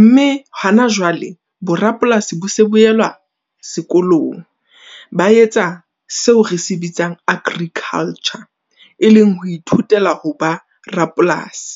Mme hona jwale bo rapolasi bo se bo elwa sekolong. Ba etsa seo re se bitsang agriculture, e leng ho ithutela ho ba rapolasi.